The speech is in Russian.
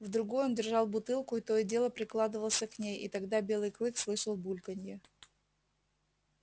в другой он держал бутылку и то и дело прикладывался к ней и тогда белый клык слышал бульканье